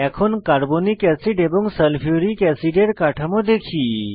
এখন carbolic acid এবং sulphuric অ্যাসিডের কাঠামো দেখি